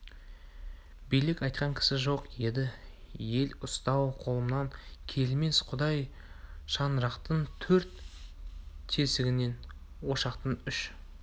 билік айтқан кісі жоқ еді ел ұстау қолымнан келмес құдай шаңырақтың төрт тесігінен ошақтың үш